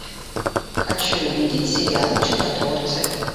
хочу увидеть сериал чудотворцы